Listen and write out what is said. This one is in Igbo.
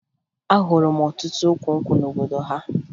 Ahụrụ m ọtụtụ ukwu nkwụ n'obodo ha